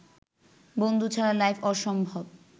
বন্ধু ছাড়া লাইফ অসম্ভব